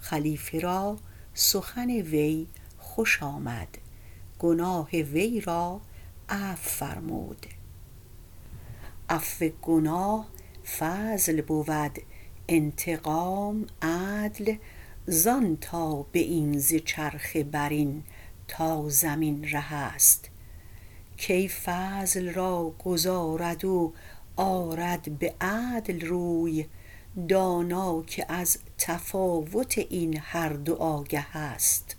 خلیفه را سخن وی خوش آمد گناه وی را عفو فرمود عفو گناه فضل بود انتقام عدل زان تا به این ز چرخ برین تا زمین ره است کی فضل را گذارد و آرد به عدل روی دانا که از تفاوت این هر دو آگه است